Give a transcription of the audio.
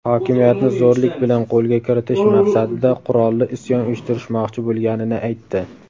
hokimiyatni zo‘rlik bilan qo‘lga kiritish maqsadida qurolli isyon uyushtirishmoqchi bo‘lganini aytdi.